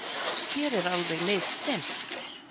Hér alveg niðdimmt